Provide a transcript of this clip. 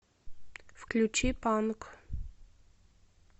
включи панк